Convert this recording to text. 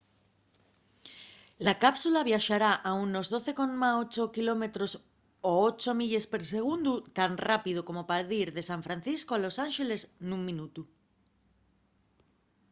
la cápsula viaxará a unos 12,8 km o 8 milles per segundu tan rápido como pa dir de san francisco a los ánxeles nun minutu